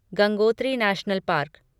Gangotri national park